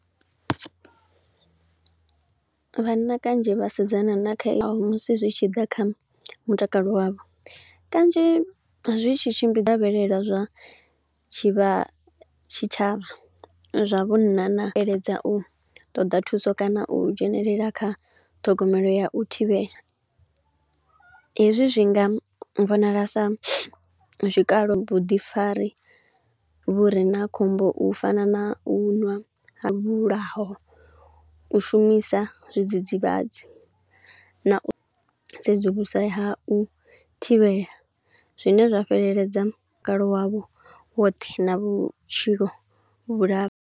Vhanna kanzhi vha sedzana na kheaho musi zwi tshi ḓa kha mutakalo wavho, kanzhi zwi tshi tshimbi lavhelela zwa tshivha tshitshavha, zwa vhunna na u iledza u ṱoḓa thuso kana u dzhenelela kha ṱhogomelo ya u thivhela. Hezwi zwi nga vhonala sa zwikalo vhuḓifari, vhu ri na khombo u fana na u ṅwa ha vhulaho, u shumisa zwidzidzivhadzi, na u sedzulusa ha u thivhela. Zwine zwa fheleledza mutakalo wavho woṱhe na vhutshilo vhula.